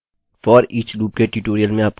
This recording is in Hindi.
foreach लूपloopके ट्यूटोरियल में आपका स्वागत है